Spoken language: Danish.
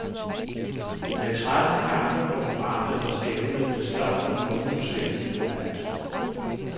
Med tretten kampe på programmet var stævnet det største nogensinde på dansk grund.